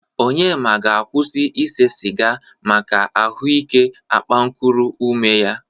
Onyema ga-akwụsị isee sịga maka ahụ ike akpankuru ume ya.